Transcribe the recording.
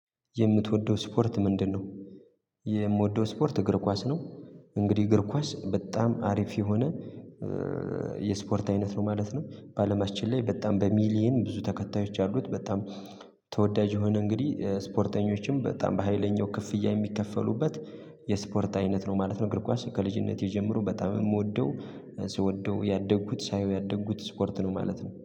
የምትወደው ስፖርት ምንድነው? የምወደው ስፖርት እግር ኳስ ነው። እንግዲህ እግር ኳስ በጣም አሪፍ የሆነ። የስፖርት አይነት ነው ማለት ነው። በአለማችን ላይ በጣም በሚሊየን ብዙ ተከታዮች አሉት። በጣም ተወዳጅ የሆነ እንግዲህ ስፖርተኞችም በጣም በሃይለኛው ክፍያ የሚከፈሉበት። የስፖርት አይነት ነው ማለት ነው። እግር ኳስ ከልጅነቴ ጀምሮ በጣም የምወደው ስወደው ያደጉት ሳየው ያደጉት ስፖርት ነው ማለት ነው